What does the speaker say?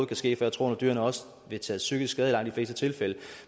kan ske for jeg tror nu dyrene også vil tage psykisk skade i langt de fleste tilfælde